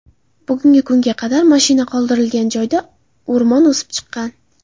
Bugunga kunga qadar mashina qoldirilgan joyda o‘rmon o‘sib chiqqan.